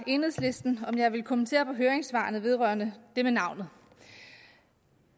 enhedslisten om jeg ville kommentere høringssvarene vedrørende det med navnet